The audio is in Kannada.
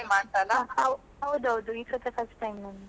ಹಾ ಹೌದೌದು ಈಸಲ first time ನಂದು.